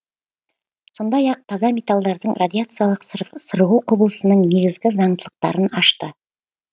сондай ақ таза металдардың радиациялық сырғу құбылысының негізгі заңдылықтарын ашты